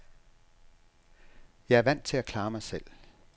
Jeg er vant til at klare mig selv.